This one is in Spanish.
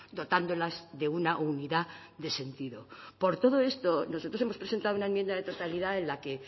dotándolas de una unidad de sentido por todo esto nosotros hemos presentado una enmienda de totalidad en la que